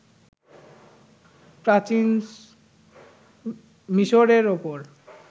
প্রাচীন মিসরের উপর